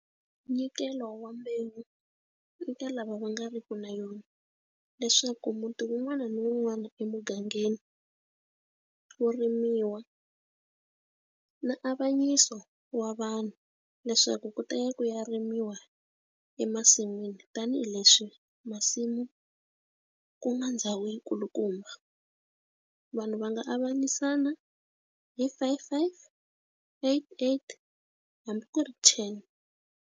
Minyikelo wa mbewu eka lava va nga riki na yona leswaku muti wun'wana na wun'wana emugangeni wo rimiwa na avanyisa so wa vanhu leswaku ku ta ya ku ya rimiwa emasin'wini tanihileswi masimu ku nga ndhawu yi kulukumba vanhu va nga avanyisa nyana hi five five eight eight hambi ku ri ten.